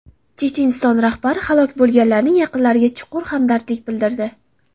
Checheniston rahbari halok bo‘lganlarning yaqinlariga chuqur hamdardlik bildirdi.